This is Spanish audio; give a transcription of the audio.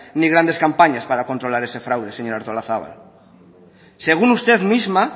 ni grandes campañas para controlar ese fraude señora artolazabal según usted misma